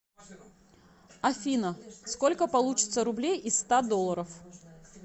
афина сколько получится рублей из ста долларов